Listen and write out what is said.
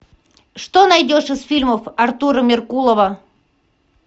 что найдешь из фильмов артура меркулова